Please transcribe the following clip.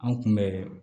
An kun bɛ